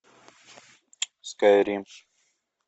скайрим